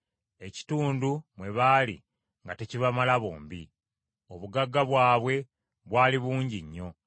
ekitundu mwe baali nga tekibamala bombi. Obugagga bwabwe bwali bungi nnyo,